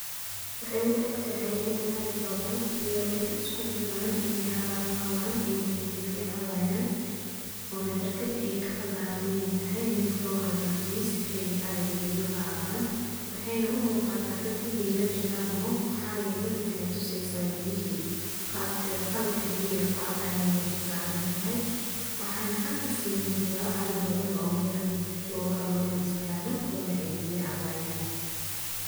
Waxay u ektehay ini arii badan iyo idoo iskujiran ay harad qawaan ayna biya cabayan, Ona barkad ay kacabayan Inay taxay mid lohagajiye sifay ariga biya ogacaban , waxayna u mugata dad Inay lajiraan oo maxa yele maxay tuseysa biyihi, qaalabki biyixi ay kucabayen ay mesha sarantahay, waxana xaag kasimugda arii badan oomel jogan oo Mel istagan kuwana ay biya cabayan.